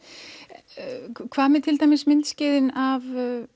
en hvað með til dæmis myndskeiðin af